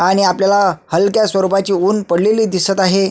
आणि आपल्याला हलक्या स्वरूपाचे उन्ह पडलेले दिसत आहे.